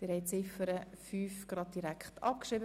Sie haben Ziffer 5 einstimmig abgeschrieben.